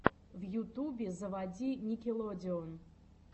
в ютубе заводи никелодеон